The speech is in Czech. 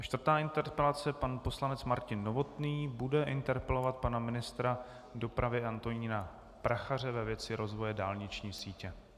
A čtvrtá interpelace - pan poslanec Martin Novotný bude interpelovat pana ministra dopravy Antonína Prachaře, ve věci rozvoje dálniční sítě.